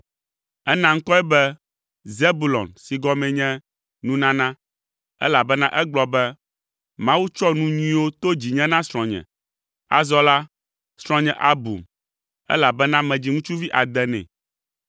Ena ŋkɔe be Zebulon si gɔmee nye “Nunana,” elabena egblɔ be, “Mawu tsɔ nu nyuiwo to dzinye na srɔ̃nye. Azɔ la, srɔ̃nye abum, elabena medzi ŋutsuvi ade nɛ.”